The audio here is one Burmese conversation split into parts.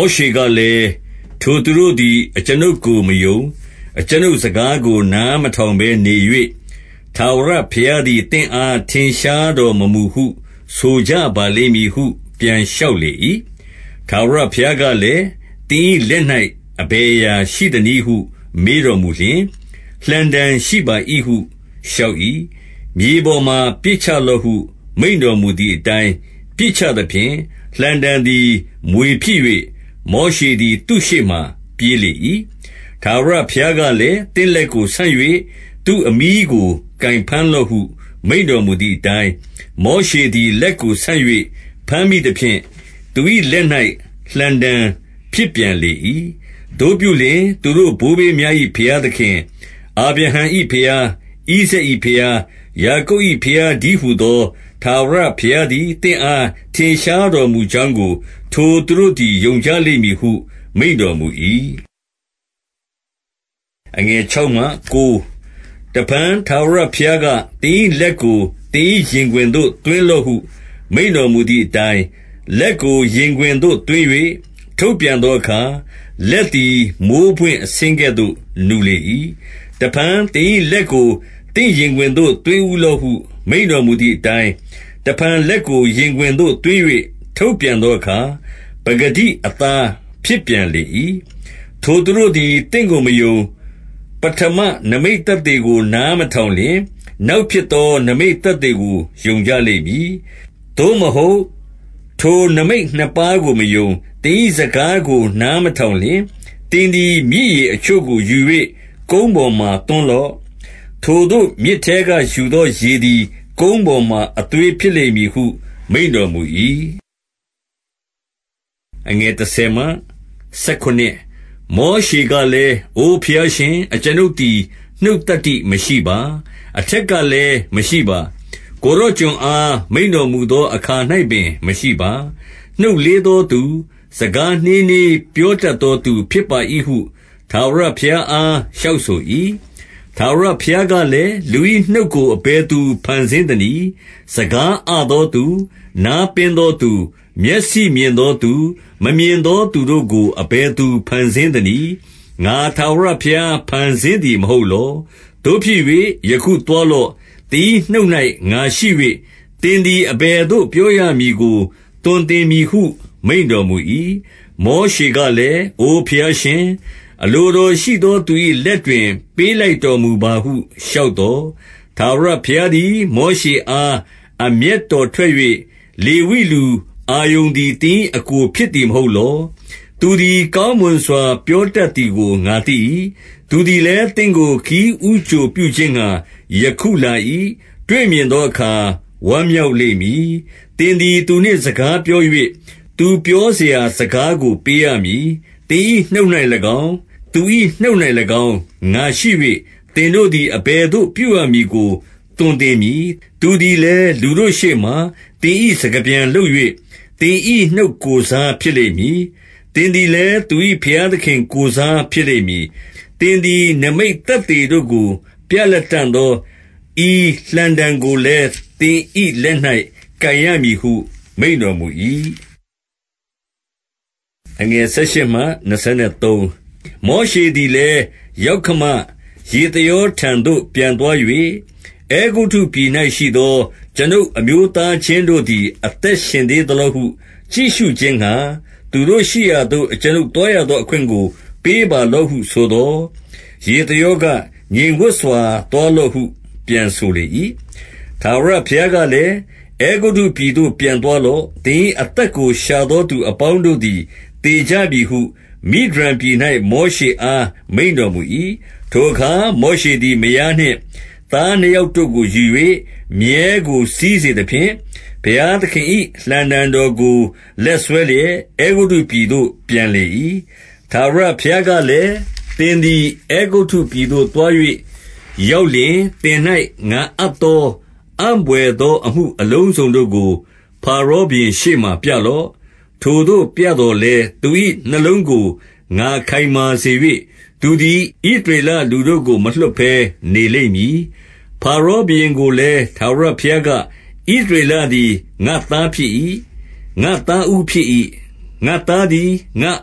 ောရှေကလည်း၊ ထိုသူတို့သည် အကျွန်ုပ်ကို မယုံ၊ အကျွန်ုပ်စကားကို နားမထောင်ဘဲနေ၍၊ ထာဝရ ဘုရားသည် သင့်အားထင်ရှားတော်မမူဟု ဆိုကြပါ လိမ့်မည်ဟု ပြန်လျှောက်လေ၏။ 2 ထာဝရဘုရားကလည်း၊ သင်၏လက်၌ အဘယ်အရာရှိသနည်းဟု မေးတော်မူလျှင်၊ လှံတံရှိပါ၏ဟု လျှောက်၏။ 3 မြေပေါ်မှာ ပစ်ချလော့ဟု မိန့်တော်မူသည်အတိုင်း ပစ်ချသဖြင့်၊ လှံတံသည် မြွေဖြစ်၍၊ မောရှေသည် သူ့ရှေ့မှ ပြေးလေ၏။ 4 ထာဝရဘုရားကလည်း၊ သင့်လက်ကိုဆန့်၍ သူ့အမြီးကို ကိုင်ဘမ်းလော့ဟု မိန့်တော်မူသည်အတိုင်း၊ မောရှေသည် လက်ကိုဆန့်၍ ဘမ်းမိသဖြင့်၊ သူ၏လက်၌ လှံတံဖြစ်ပြန်လေ၏။ 5 သို့ပြုလျှင် သူတို့ဘိုးဘေးများ၏ ဘုရားသခင်၊ အာဗြဟံ၏ဘုရား၊ ဣဇာက်၏ဘုရား၊ ယာကုပ်၏ဘုရား တည်းဟူသော ထာဝရဘုရားသည် သင့်အား ထင်ရှားတော်မူကြောင်းကို ထိုသူတို့သည် ယုံကြလိမ့်မည်ဟု မိန့်တော်မူ၏။ 6 တဖန် ထာဝရဘုရားက၊ သင်၏လက်ကိုသင်၏ ရင်ခွင်သို့ သွင်းလော့ဟု မိန့်တော်မူသည်အတိုင်း၊ လက်ကို ရင်ခွင်သို့သွင်း၍ ထုတ်ပြန်သောအခါ၊ လက်သည် မိုဃ်းပွင့်အဆင်းကဲ့သို့ နူလေ၏။ 7 တဖန်သင်၏လက်ကို သင့်ရင်ခွင်သို့ သွင်းဦးလော့ဟု မိန့်တော်မူသည်အတိုင်း၊ တဖန်လက်ကို ရင်ခွင် သို့သွင်း၍ ထုတ်ပြန်သောအခါ၊ ပကတိအသား ဖြစ်ပြန်လေ၏။ 8 ထိုသူတို့သည် သင့်ကိုမယုံ၊ ပဌမနိမိတ်သက်သေကို နားမထောင်လျှင်၊ နောက်ဖြစ်သော နိမိတ်သက်သေကို ယုံကြလိမ့်မည်။ 9 သို့မဟုတ် ထိုနိမိတ်နှစ်ပါးကို မယုံ၊ သင်၏ စကားကို နားမထောင်လျှင်၊ သင်သည် မြစ်ရေအချို့ကို ယူ၍ ကုန်းပေါ်မှာသွန်းလော့။ ထိုသို့ မြစ်ထဲက ယူသော ရေသည် ကုန်းပေါ်မှာအသွေးဖြစ်လိမ့်မည်ဟု မိန့်တော် မူ၏။ 10 မောရှေကလည်း၊ အိုဘုရားရှင်၊ အကျွန်ုပ်သည် နှုတ်သတ္တိမရှိပါ။ အထက်ကလည်း မရှိပါ။ ကိုယ်တော် ကျွန်အား မိန့်တော်မူသောအခါ၌ပင် မရှိပါ။ နှုတ်လေးသောသူ၊ စကားနှေးနှေးပြောတတ်သော သူဖြစ်ပါ၏ဟု ထာဝရဘုရားအားလျှောက်ဆို၏။ 11 ထာဝရဘုရားကလည်း၊ လူ၏နှုတ်ကို အဘယ်သူ ဖန်ဆင်းသနည်း။ စကားအသောသူ၊ နားပင်းသောသူ၊ မျက်စိမြင်သောသူ၊ မမြင်သောသူတို့ကို အဘယ်သူ ဖန်ဆင်းသနည်း။ ငါထာဝရဘုရား ဖန်ဆင်းသည် မဟုတ် လော။ 12 သို့ဖြစ်၍ယခုသွားလော့။ သင်၏ နှုတ်၌ ငါရှိ၍၊ သင်သည် အဘယ်သို့ပြောရမည်ကို သွန်သင်မည်ဟု မိန့်တော်မူ၏။ 13 မောရှေကလည်း၊ အိုဘုရားရှင်၊ အလိုတော်ရှိသောသူ၏လက်တွင် ပေးလိုက်တော်မူပါဟု လျှောက် သော်၊ 14 ထာဝရဘုရားသည် မောရှေအား အမျက်တော်ထွက်၍၊ လေဝိလူ အာရုန်သည် သင်၏အစ်ကိုဖြစ်သည် မဟုတ်လော။ သူသည် ကောင်းမွန်စွာပြောတတ်သည်ကို ငါသိ၏။ သူသည်လည်း သင့်ကိုခရီးဦးကြိုပြုခြင်းငှါ ယခုလာ၏။ တွေ့မြင်သောအခါ ဝမ်းမြောက်လိမ့်မည်။ 15 သင်သည် သူနှင့်စကားပြော၍၊ သူပြောစရာစကားကို ပေးရမည်။ သင်၏နှုတ်၌၎င်း၊ သူ၏နှုတ်၌၎င်း ငါရှိ၍၊ သင်တို့သည် အဘယ်သို့ပြုရမည်ကို သွန်သင်မည်။ 16 သူသည်လည်း လူတို့ရှေ့မှာ သင်၏စကားပြန်လုပ်၍၊ သင်၏ နှုတ်ကိုယ်စားဖြစ်လိမ့်မည်။ သင်သည် လည်း သူ၏ဘုရားသခင်ကိုယ်စား ဖြစ်လိမ့်မည်။ 17 သင်သည် နိမိတ်သက်သေတို့ကို ပြလတံ့သော ဤလှံတံကိုလည်း၊ သင်၏လက်၌ကိုင်ရမည်ဟု မိန့်တော် မူ၏။ 18 မောရှေသည်လည်း ယောက္ခမ ယေသရောထသို့ ပြန်သွား၍၊ အဲဂုတ္တုပြည်၌ရှိသော ကျွန်ုပ်အမျိုးသား ချင်းတို့သည် အသက်ရှင်သေးသလောဟု ကြည့်ရှုခြင်းငှါ၊ သူတို့ရှိရာသို့ ကျွန်ုပ်သွားရသောအခွင့်ကို ပေးပါလော့ဟု ဆိုသော်၊ ယေသရောက၊ ငြိမ်ဝပ်စွာသွားလော့ဟု ပြန်ဆိုလေ၏။ 19 ထာဝရဘုရားကလည်း၊ အဲဂုတ္တုပြည်သို့ ပြန်သွားလော့။ သင်၏အသက်ကို ရှာသောသူအပေါင်း တို့သည် သေကြပြီဟု မိဒျန်ပြည်၌ မောရှေအား မိန့်တော်မူ၏။ 20 ထိုအခါ၊ မောရှသည် မယားနှင့်သား နှစ်ယောက်တို့ကို ယူ၍ မြည်းကိုစီးစေသဖြင့်၊ ဘုရားသခင်၏ လှံတံတော်ကိုလက်စွဲလျက်၊ အဲဂုတ္တုပြည်သို့ ပြန်လေ၏။ 21 ထာဝရဘုရားကလည်း၊ သင်သည် အဲဂုတ္တုပြည်သို့သွား၍ ရောက်လျှင်၊ သင်၌ ငါအပ်သော အံ့ဘွယ် သော အမှုအလုံးစုံတို့ကို ဖါရောဘုရင်ရှေ့မှာ ပြလော့။ ထိုသို့ပြသော်လည်း သူ၏နှလုံးကို ငါခိုင်မာစေ၍၊ သူသည် ဣသရေလလူတို့ကို မလွှတ်ဘဲ နေလိမ့်မည်။ 22 ဖါရောဘုရင်ကိုလည်း ထာဝရဘုရားက ဣသရေလသည် ငါ့သားဖြစ်၏။ ငါ့သားဦးဖြစ်၏။ 23 ငါ့သားသည် ငါ့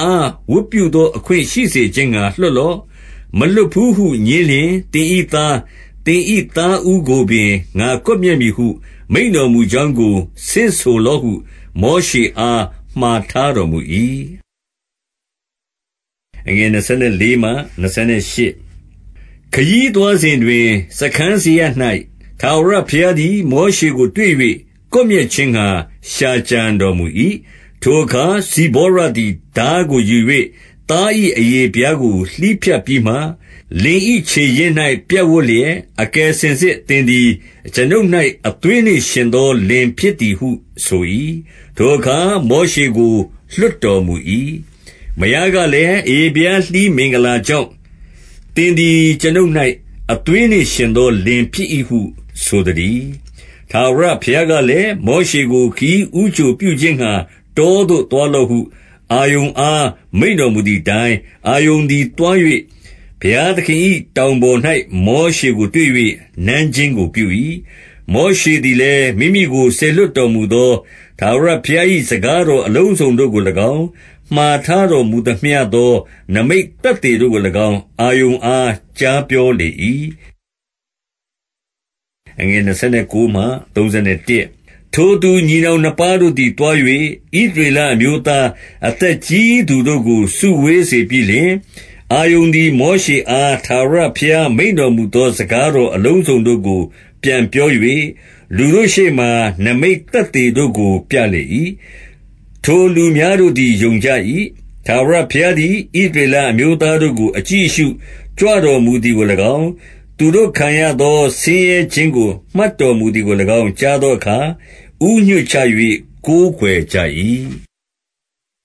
အားဝတ်ပြုသောအခွင့် ရှိစေခြင်းငှါ လွှတ်လော့။ မလွှတ်ဘူးဟု ငြင်းလျှင်၊ သင်၏သား၊ သင်၏သားဦးကိုပင် ငါကွပ်မျက်မည်ဟု မိန့်တော်မူကြောင်းကို ဆင့်ဆိုလော့ဟု မောရှအား မှာထားတော်မူ၏။ 24 ခရီးသွားစဉ်တွင်၊ စားခန်းစရပ်၌ ထာဝရဘုရားသည် မောရှေကိုတွေ့၍ ကွပ်မျက်ခြင်းငှါ ရှာကြံတော် မူ၏။ 25 ထိုအခါ၊ ဇိပေါရသည် ထားကိုယူ၍ သား၏ အရေဖျားကို လှီးဖြတ်ပြီးမှ၊ လင်၏ခြေရင်း၌ပြပ်ဝပ်လျက်၊ အကယ်စင်စစ်သင်သည် အကျွန်ုပ်၌ အသွေးနှင့်ယှဉ်သော လင်ဖြစ်သည်ဟု ဆို၏။ 26 ထိုအခါ မောရှေကို လွှတ်တော်မူ၏။ မယားကလည်း၊ အရေဖျားလှီးမင်္ဂလာကြောင့်၊ သင်သည် အကျွန်ုပ်၌ အသွေးနှင့်ယှဉ်သောလင်ဖြစ်၏ဟု ဆိုသတည်း။ 27 ထာဝရဘုရားကလည်း၊ မောရှေကို ခရီးဦးကြိုပြုခြင်းငှါ တောသို့သွားလော့ဟု အာရုန်အား မိန့်တော်မူ သည်အတိုင်း၊ အာရုန်သည်သွားလျှင်၊ ဘုရားသခင်၏ တောင်ပေါ်၌ မောရှေကို တွေ့၍နမ်းခြင်းကို ပြု၏။ 28 မောရှေသည်လည်း၊ မိမိကိုစေလွှတ်တော်မူသော ထာဝရဘုရား၏စကားတော်အလုံးစုံတို့ကို၎င်း၊ မှာထားတော်မူသမျှသော နိမိတ်သက်သေတို့ကို၎င်း၊ အာရုန်အားကြားပြောလေ၏။ 29 ထိုသူညီနောင်နှစ်ပါးတို့သည် သွား၍ ဣသရေလအမျိုးသား အသက်ကြီးသူတို့ကို စုဝေးစေပြီးလျင်၊ 30 အာရုန်သည် မောရှေအား ထာဝရဘုရား မိန့်တော်မူသော စကားတော်အလုံးစုံတို့ကို ပြန်ပြော၍၊ လူတို့ရှေ့မှာ နိမိတ်သက်သေတို့ကိုပြလေ၏။ 31 ထိုလူများတို့သည် ယုံကြ၏။ ထာဝရဘုရားသည် ဣသရေလအမျိုးသားတို့ကို အကြည့်အရှုကြွတော်မူ သည်ကို၎င်း၊ သူတို့ခံရသော ဆင်းရဲခြင်းကို မှတ်တော်မူသည်ကို၎င်း ကြားသောအခါ၊ ဦးညွှတ်ချ၍ ကိုးကွယ် ကြ၏။